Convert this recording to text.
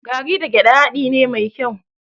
Garri da gyaɗa haɗi ne mai kyau.